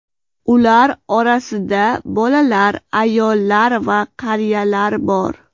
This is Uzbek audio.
Ular orasida bolalar, ayollar va qariyalar bor.